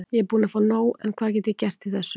Ég er búinn að fá nóg en hvað get ég gert í þessu?